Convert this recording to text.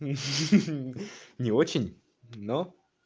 не очень но